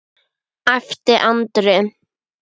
æpti Andri.